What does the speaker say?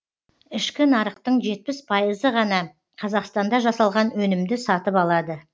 ішкі нарықтың жетпіс пайызы ғана қазақстанда жасалған өнімді сатып алады